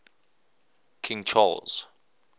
king charles